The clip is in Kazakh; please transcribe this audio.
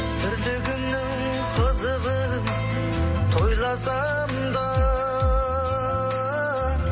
тірлігімнің қызығын тойласам да